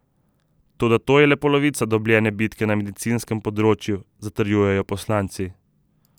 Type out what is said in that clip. Toda to je le polovica dobljene bitke na medicinskem področju, zatrjujejo poslanci.